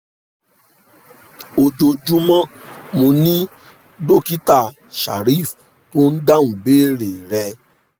ojoojúmọ́! mo ni dokita shareef tó ń dáhùn ìbéèrè rẹ